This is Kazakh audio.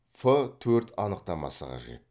ф төрт анықтамасы қажет